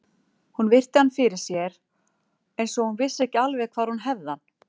Hún virti hann fyrir sér eins og hún vissi ekki alveg hvar hún hefði hann.